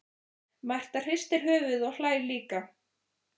Marta hristir höfuðið og hlær líka.